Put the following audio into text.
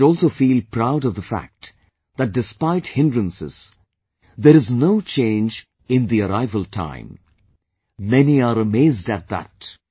We should also feel proud of the fact that despite hindrances, there is no change in the arrival time... many are amazed at that